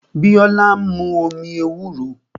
Biola ń mu omi ewúro